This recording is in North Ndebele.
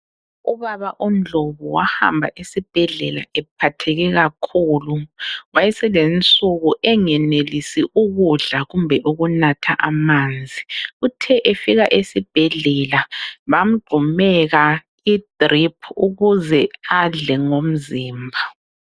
Ubaba uNdlobu wahamba esibhedlela ephatheke kakhulu. Wayeselensuku engenelisi ukudla kumbe ukunatha amanzi. Uthe efika esibhedlela bamgxumeka i-drip ukuze adle ngomzimba.